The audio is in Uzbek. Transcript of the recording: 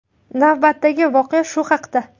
Navbatdagi voqea shu haqda.